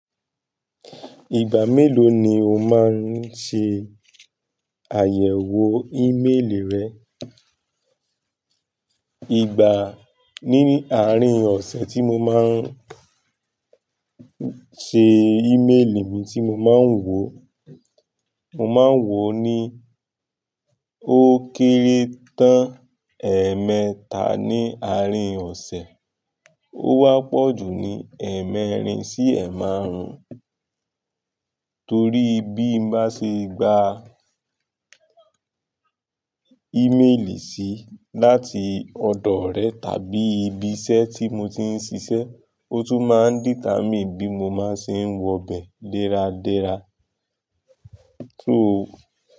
Ìgbà mélòó ni o máa ń ṣe àyẹ̀wò ímélì rẹ? Ìgbà, ní àárín ọ̀sẹ̀ tí mo máa ń ṣe ímélì mi tí mo máa ń wò, mo máa ń wò ó ní ó kéré tán ẹ̀ẹ̀mẹta ní àárín ọ̀sẹ̀, ó wá pọ̀ jù ní ẹ̀ẹ̀mẹ́rin sí ẹ̀ẹ̀ márùn-ún. Torí bí mo bá ṣe gba ímélì sí láti ọ̀dọ̀ orẹ tàbí ibi iṣẹ́ tí mo ti ń ṣiṣẹ́, ó tún máa ń determine bí mo máa ṣe ń wọ bẹ̀ dẹ́ra dẹ́ra.